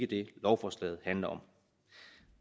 det lovforslaget handler om